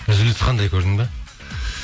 үзіліс қандай көрдің бе